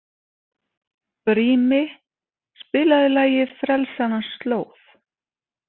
Brími, spilaðu lagið „Frelsarans slóð“.